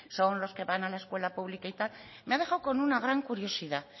son los que van a la escuela pública y tal me ha dejado con una gran curiosidad